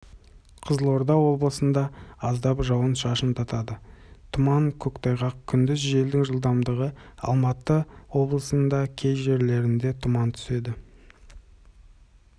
қызылорда облысында аздап жауын-шашындатады тұман көктайғақ күндіз желдің жылдамдығы алматы облысында кей жерлерінде тұман түседі